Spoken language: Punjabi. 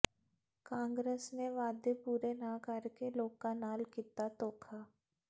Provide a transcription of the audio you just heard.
ਕਾਂਗਰਸ ਨੇ ਵਾਅਦੇ ਪੂਰੇ ਨਾ ਕਰਕੇ ਲੋਕਾਂ ਨਾਲ ਕੀਤਾ ਧੋਖਾ